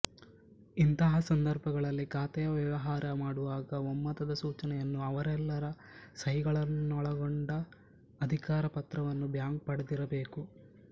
ಇಂತಹ ಸಂದರ್ಭಗಳಲ್ಲಿ ಖಾತೆಯ ವ್ಯವಹಾರ ಮಾಡುವಾಗ ಒಮ್ಮತದ ಸೂಚನೆಯನ್ನೂ ಅವರೆಲ್ಲರ ಸಹಿಗಳನ್ನೊಳಗೊಂಡ ಅಧಿಕಾರ ಪತ್ರವನ್ನೂ ಬ್ಯಾಂಕು ಪಡೆದಿರಬೇಕು